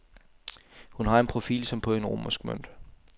Hun har en profil som på en romersk mønt.